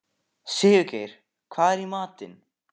Sigurgeir, hvað er í matinn?